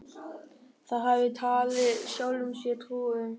Það hafði hann talið sjálfum sér trú um.